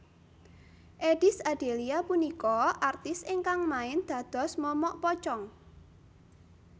Eddies Adelia punika artis ingkang main dados momok pocong